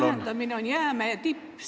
... lühendamine on jäämäe tipp.